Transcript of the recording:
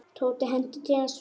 Tóti henti til hans svuntu.